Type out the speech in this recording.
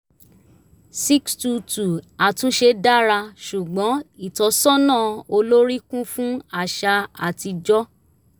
ix two two àtúnṣe dára ṣùgbọ́n ìtọ́sọ́nà olórí kún fún àṣà atijọ́